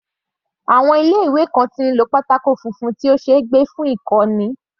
Àwọn ilé ìwé kan tí ń lo pátákó funfun tí ó ṣeé gbé fún ìkọ́ni.